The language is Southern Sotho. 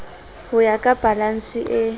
ho ya ka balanse e